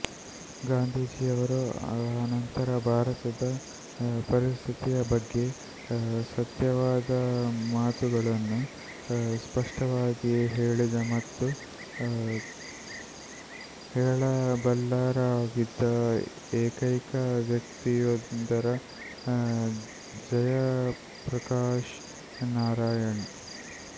ಗಾಂಧೀಜಿಯವರ ಅನಂತರ ಭಾರತದ ಪರಿಸ್ಥಿತಿಯ ಬಗ್ಗೆ ಸತ್ಯವಾದ ಮಾತುಗಳನ್ನು ಸ್ಪಷ್ಟವಾಗಿ ಹೇಳಿದ ಮತ್ತು ಹೇಳಬಲ್ಲವರಾಗಿದ್ದ ಏಕೈಕ ವ್ಯಕ್ತಿಯೆಂದರೆ ಜಯಪ್ರಕಾಶ್ ನಾರಾಯಣ್